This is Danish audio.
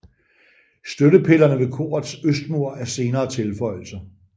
Støttepillerne ved korets østmur er senere tilføjelser